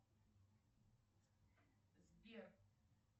сбер